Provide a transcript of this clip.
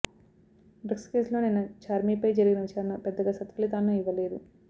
drugs కేసులో నిన్న ఛార్మీపై జరిగిన విచారణ పెద్దగా సత్ఫలితాలను ఇవ్వలేదు